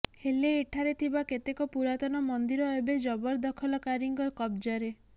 ହେଲେ ଏଠାରେ ଥିବା କେତେକ ପୁରାତନ ମନ୍ଦିର ଏବେ ଜବରଦଖଲକାରୀଙ୍କ କବ୍ଜାରେ